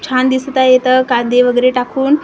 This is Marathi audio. छान दिसत आहे इथं कांदे वगेरे टाकून खूप सुं --